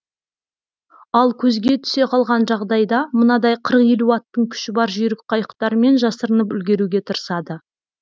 ал көзге түсе қалған жағдайда мынадай аттың күші бар жүйрік қайықтармен жасырынып үлгеруге тырысады